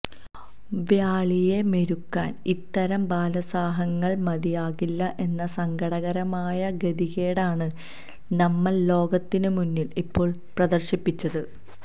വ്യാളിയെ മെരുക്കാന് ഇത്തരം ബാലസാഹസങ്ങള് മതിയാകില്ല എന്ന സങ്കടകരമായ ഗതികേടാണ് നമ്മള് ലോകത്തിന് മുന്നില് ഇപ്പോള് പ്രദര്ശിപ്പിച്ചത്